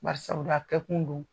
Bari sabula a kɛ kun don.